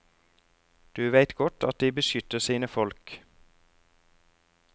Du veit godt at de beskytter sine folk.